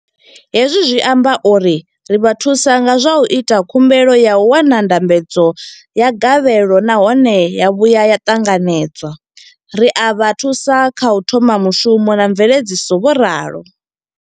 Hezwi zwi amba uri ri vha thusa nga zwa u ita khumbelo ya u wana ndambedzo ya gavhelo nahone ya vhuya ya ṱanganedzwa, ri a vha thusa kha u thoma mushumo na mveledziso, vho ralo.